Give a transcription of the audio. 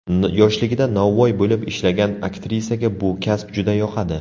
Yoshligida novvoy bo‘lib ishlagan aktrisaga bu kasb juda yoqadi.